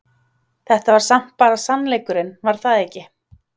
Þetta var samt bara sannleikurinn var það ekki?